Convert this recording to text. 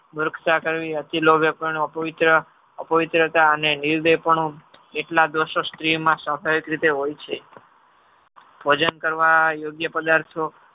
મૂર્ખતા કરવી અતિ લોભે પણ અપવિત્ર અપવિત્રતા અને નિર્દેહપણું એટલા દોર્ષો સ્ત્રીમાં સ્વભાવિક રીતે હે છે. ભોજન કરવા યોગ્ય પદાર્થો